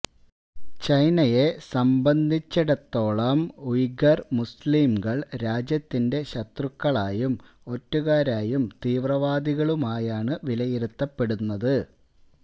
ചൈനയെ സംബന്ധിച്ചിടത്തോളം ഉയ്ഗര് മുസ്ലിംകള് രാജ്യത്തിന്റെ ശത്രുക്കളായും ഒറ്റുകാരായും തീവ്രവാദികളായുമാണ് വിലയിരുത്തപ്പെടുന്നത്